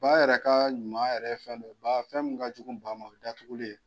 Baa yɛrɛ ka ɲuman ya yɛrɛ ye fɛn dɔ ye, ba fɛn min ka jugu ba ma o ye datuguli ye.